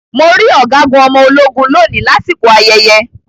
Mo rí Ọ̀gágun ọmọ ológun lóni lásìkò ayẹyẹ.